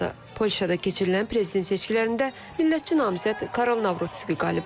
Polşada keçirilən prezident seçkilərində millətçi namizəd Karol Navrutski qalib olub.